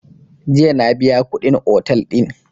Jiya na biya kuɗin otel din